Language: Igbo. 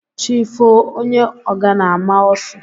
Chi foo onye ngana a maa ọ́sụ.